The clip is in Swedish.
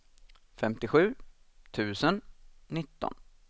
femtiosju tusen nitton